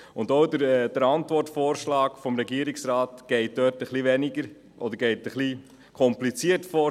Auch der Antwortvorschlag des Regierungsrates geht etwas kompliziert vor.